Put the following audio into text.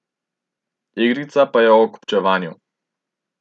Igrica pa je o kupčevanju.